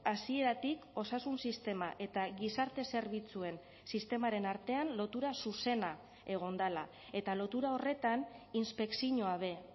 hasieratik osasun sistema eta gizarte zerbitzuen sistemaren artean lotura zuzena egon dela eta lotura horretan inspekzioa be